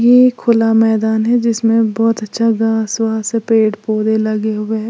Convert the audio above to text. ये एक खुला मैदान है जिसमें बहुत अच्छा घास वास पेड़ पौधे लगे हुए हैं।